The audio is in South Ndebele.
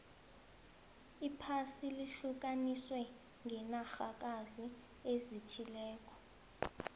iphasi lihlukaniswe ngenarhakazi ezithileko